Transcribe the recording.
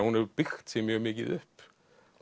hún hefur byggt sig mjög mikið upp